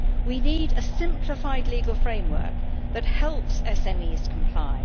We need a simplified legal framework that helps SMEs to comply.